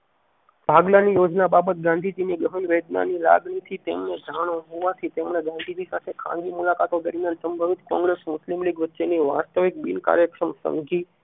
ભાગલા ની યોજના બાબત ગાંધીજી ગહન વેદનાની લાગણી થી તેમને સાણ હોવાથી તેમણે ગાંધીજી સાથી ખાનગી મુલાકાતો કરી અને સંભવિત કોગ્રેસ મુસ્લિમ લીગ વચ્ચે ની વાસ્તવિક બિન કાર્યક્ષમ સમજી